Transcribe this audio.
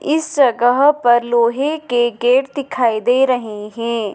इस जगह पर लोहे के गेट दिखाई दे रहे है।